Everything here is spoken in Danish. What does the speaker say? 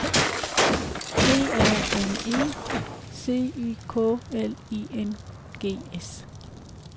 D A M E C Y K L I N G S